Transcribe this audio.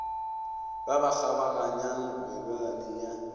ba ba kgabaganyang melelwane ya